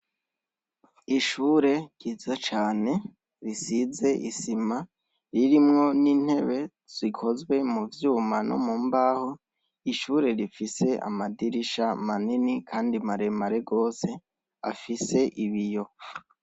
Ishure ryiza cane risiz' isima ririmwo n' intebe zikozwe mu vyuma no mu mbaho, ishure rifis' amadirisha manini kandi maremare gos' afis' ibiyo.